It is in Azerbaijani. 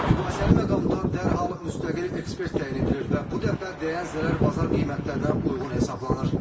Mübahisəli məqamda dərhal müstəqil ekspert təyin edilir və bu dəfə dəyən zərər bazar qiymətlərinə uyğun hesablanır.